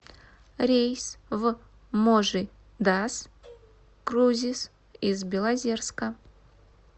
рейс в можи дас крузис из белозерска